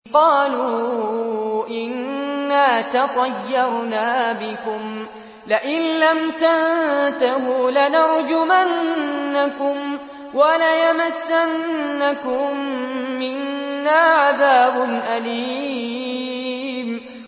قَالُوا إِنَّا تَطَيَّرْنَا بِكُمْ ۖ لَئِن لَّمْ تَنتَهُوا لَنَرْجُمَنَّكُمْ وَلَيَمَسَّنَّكُم مِّنَّا عَذَابٌ أَلِيمٌ